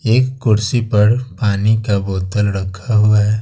एक कुर्सी पर पानी का बोतल रखा हुआ है।